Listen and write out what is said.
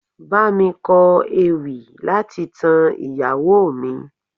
Bámi kọ ewì láti tan ìyàwó mi.